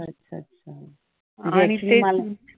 अच्छा अच्छा अच्छा.